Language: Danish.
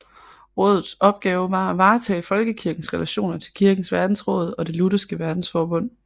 Rådets opgave var at varetage Folkekirkens relationer til Kirkens Verdensråd og Det lutherske Verdensforbund